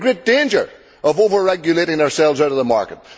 We are in great danger of over regulating ourselves out of the market.